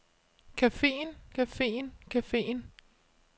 cafeen cafeen cafeen